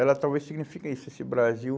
Ela talvez signifique isso, esse Brasil...